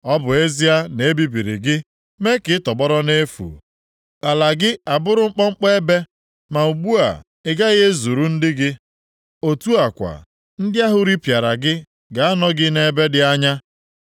“Ọ bụ ezie na e bibiri gị, mee ka ị tọgbọrọ nʼefu, ala gị abụrụ nkpọnkpọ ebe, ma ugbu a, ị gaghị ezuru ndị gị, otu a kwa, ndị ahụ ripịara gị ga-anọ gị nʼebe dị anya.